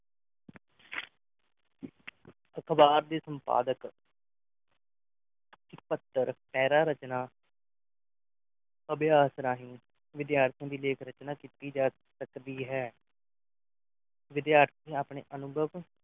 ਅਖਬਾਰ ਦੀ ਸੰਪਾਦਕ ਇੱਕ ਪੱਤਰ ਪੈਰਾ ਰਚਨਾ ਅਭਿਆਸ ਰਾਹੀਂ ਵਿਦਿਆਰਥੀਆਂ ਦੀ ਲੇਖ ਰਚਨਾ ਕੀਤੀ ਜਾ ਸਕਦੀ ਹੈ ਵਿਦਿਆਰਥਣਾਂ ਅਪਨੇ ਅਨੁਭਵ